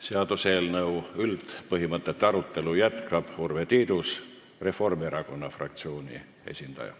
Seaduseelnõu üldpõhimõtete arutelu jätkab Urve Tiidus, Reformierakonna fraktsiooni esindaja.